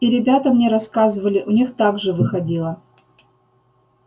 и ребята мне рассказывали у них так же выходило